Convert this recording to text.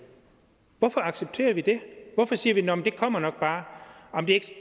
hvorfor accepterer vi det hvorfor siger vi nå men det kommer nok bare det